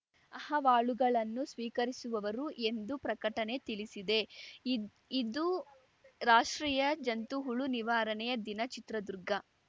ಅಹವಾಲುಗಳನ್ನು ಸ್ವೀಕರಿಸುವವರು ಎಂದು ಪ್ರಕಟಣೆ ತಿಳಿಸಿದೆ ಇದ್ ಇದು ರಾಷ್ಟ್ರೀಯ ಜಂತುಹುಳು ನಿವಾರಣೆಯ ದಿನ ಚಿತ್ರದುರ್ಗ